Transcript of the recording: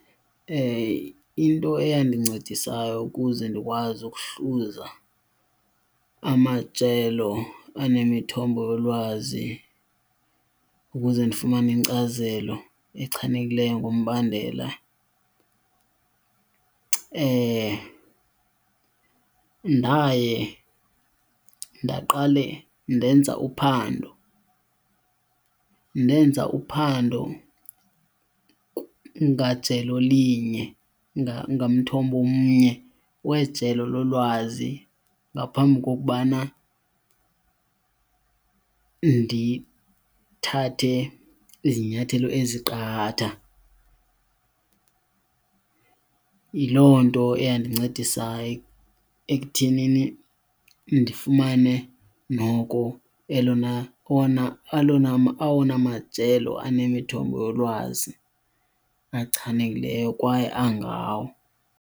Into engandincedisa nayo ukuze ndikwazi ukuhluza amajelo anemithombo yolwazi ukuze ndifumane inkcazelo echanekileyo ngombandela, ndaye ndaqale ndenza uphando. Ndenza uphando ngajelo linye, ngamthombo omnye wejelo lolwazi ngaphambi kokubana ndithathe izinyathelo eziqatha. Yiloo nto eyandincedisayo ekuthenini ndifumane noko elona, owona, alona , awona majelo anemithombo yolwazi achanekileyo kwaye angawo.